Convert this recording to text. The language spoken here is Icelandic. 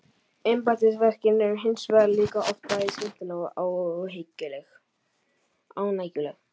Embættisverkin eru hins vegar líka oft bæði skemmtileg og ánægjuleg.